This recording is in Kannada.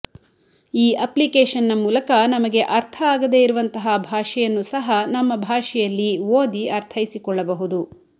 ಈ ಅಪ್ಲಿಕೇಶನ್ನ ಮೂಲಕ ನಮಗೆ ಅರ್ಥ ಆಗದೇ ಇರುವಂತಹ ಭಾಷೆಯನ್ನು ಸಹ ನಮ್ಮ ಭಾಷೆಯಲ್ಲಿ ಓದಿ ಅರ್ಥೈಸಿಕೊಳ್ಳಬಹುದು